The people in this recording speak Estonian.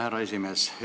Härra esimees!